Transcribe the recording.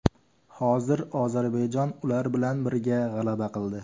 Hozir Ozarbayjon ular bilan birga g‘alaba qildi.